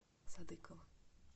садыкова